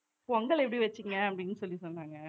பொங்கல் எப்படி வச்சீங்க அப்படீன்னு சொல்லி சொன்னாங்க